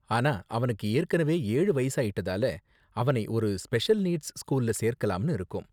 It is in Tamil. ஆனா, அவனுக்கு ஏற்கனவே ஏழு வயசாயிட்டதால, அவனை ஒரு ஸ்பெஷல் நீட்ஸ் ஸ்கூல்ல சேர்க்கலாம்னு இருக்கோம்.